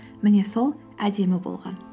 міне сол әдемі болған